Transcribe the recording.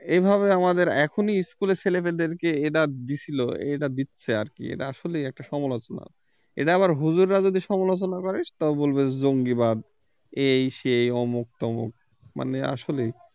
এভাবে আমাদের এখনই school এর ছেলেমেয়েদেরকে এরা দিছিলো এরা দিচ্ছে আর কি এরা আসলে একটা সমালোচনা এটা আবার হুজুররা যদি সমালোচনা করে সেটাও বলবে জঙ্গিবাদ এই সেই অমুক তমুক মানে আসলেই